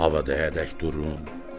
havada həddədək durun.